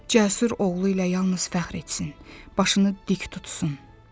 Cəsur oğlu ilə yalnız fəxr etsin, başını dik tutsun.